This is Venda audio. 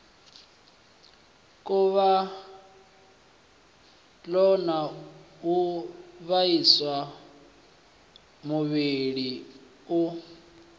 khuvhalo u vhaisa muvhili u